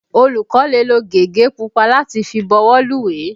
Olùkó lè lo gègé pupa láti fi bọwọ́lùwé.